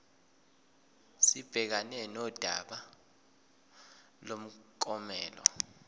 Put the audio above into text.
sibhekane nodaba lomklomelo